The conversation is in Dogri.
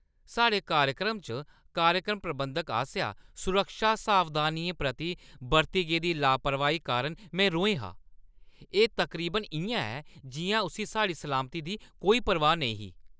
साढ़े कार्यक्रम च कार्यक्रम प्रबंधक आसेआ सुरक्षा सावधानियें प्रति बरती गेदी लापरवाही कारण में रोहें हा। एह् तकरीबन इʼयां ऐ जिʼयां उस्सी साढ़ी सलामती दी कोई परवाह् नेईं ही!